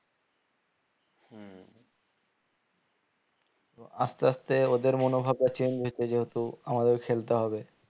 এবং আস্তে আস্তে ওদের মনোভাবটা change হচ্ছে যেহুতু আমাদের খেলতে হবে